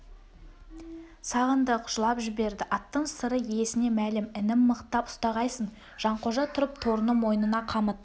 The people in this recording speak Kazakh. сағындық жылап жіберді аттың сыры иесіне мәлім інім мықтап ұстағайсың жанқожа тұрып торының мойнына қамыт